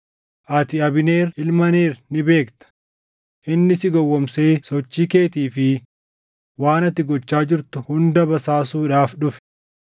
Ati Abneer ilma Neer ni beekta; inni si gowwoomsee sochii keetii fi waan ati gochaa jirtu hunda basaasuudhaaf dhufe.”